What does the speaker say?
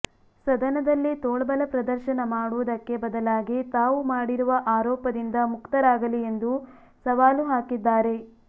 ಸದನದಲ್ಲಿ ತೋಳ್ಬಲ ಪ್ರದರ್ಶನ ಮಾಡುವುದಕ್ಕೆ ಬದಲಾಗಿ ತಾವು ಮಾಡಿರುವ ಆರೋಪದಿಂದ ಮುಕ್ತರಾಗಲಿ ಎಂದು ಸವಾಲು ಹಾಕಿದ್ದಾರೆ